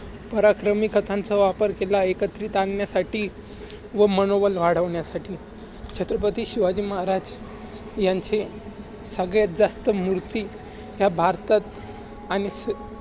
पराक्रमी कथांचा वापर केला. एकत्रित आणण्यासाठी व मनोबल वाढवण्यासाठी छत्रपती शिवाजी महाराज यांचे सगळ्यांत जास्त मूर्ती ह्या भारतात आणि